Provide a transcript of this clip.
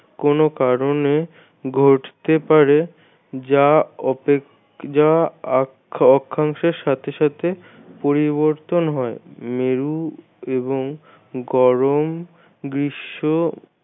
কোনো কারণে ঘটতে পারে যা অপেক্ষা যা অ অক্ষাংশের সাথে সাথে পরিবর্তন হয় মেরু এবং গরম গ্রীষ্ম